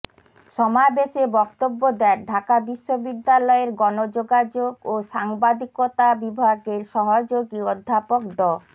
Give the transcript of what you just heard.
সমাবেশে বক্তব্য দেন ঢাকা বিশ্ববিদ্যালয়ের গণযোগাযোগ ও সাংবাদিকতা বিভাগের সহযোগী অধ্যাপক ড